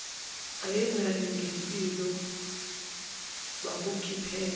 ayenakho ngempilo wakukhiphela